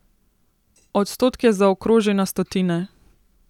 Odstotke zaokroži na stotine.